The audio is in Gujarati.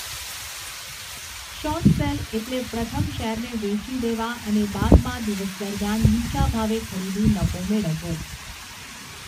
શોર્ટ સેલ એટલે પ્રથમ શેરને વેચી દેવા અને બાદમાં દિવસ દરમિયાન નીચા ભાવે ખરીદી નફો મેળવવો.